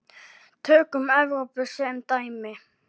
Tökum Evrópu sem dæmi.